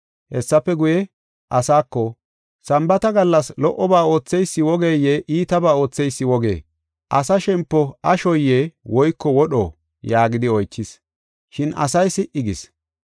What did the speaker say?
Hessafe guye, asaako, “Sambaata gallas lo77oba ootheysi wogeye iitabaa ootheysi wogee? Asa shempo ashoye woyko wodho?” yaagidi oychis. Shin asay si77i gis.